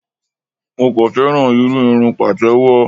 Mo kàn féràn irú irun Pàtẹ́wọ́.